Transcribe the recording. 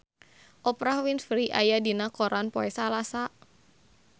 Oprah Winfrey aya dina koran poe Salasa